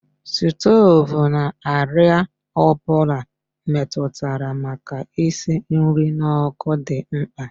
Stovu na àrịá ọ bụla metụtara maka isi nri n'ọkụ dị mkpa